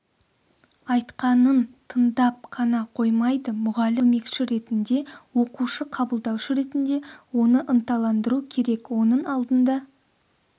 айтқанын тыңдап қана қоймайды мұғалім көмекші ретінде оқушы қабылдаушы ретінде оны ынталандыру керек оның алдында